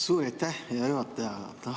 Suur aitäh, hea juhataja!